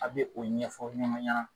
A be o ɲɛfɔ ɲɔgɔn ɲana